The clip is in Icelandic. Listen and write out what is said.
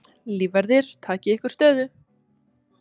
Lífverðir takið ykkur stöðu.